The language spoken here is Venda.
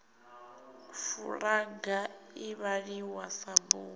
fulaga i vhaliwa sa bugu